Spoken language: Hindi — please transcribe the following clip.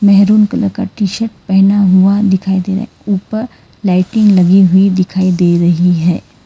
मैरून कलर का टी शर्ट पहना हुआ दिखाई दे रहा है ऊपर लाइटिंग लगी हुई दिखाई दे रही है।